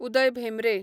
Uday Bhembre